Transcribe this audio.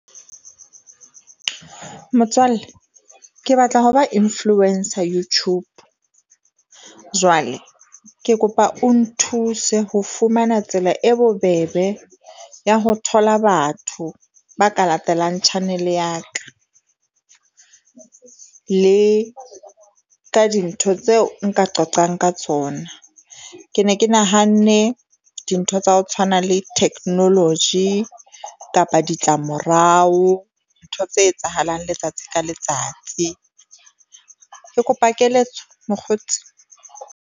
Motswalle ke batla ho ba influencer YouTube jwale ke kopa o nthuse ho fumana tsela e bobebe ya ho thola batho ba ka latelang channel-e ya ka. Le ka dintho tseo nka qoqang ka tsona. Ke ne ke nahanne dintho tsa ho tshwana le theknoloji kapa ditlamorao ntho tse etsahalang letsatsi ka letsatsi, ke kopa keletso mokgotsi.